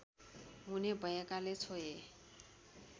हुने भएकाले छोए